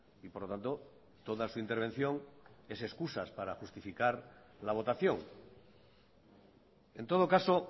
y por lo tanto toda su intervención es excusas para justificar la votación en todo caso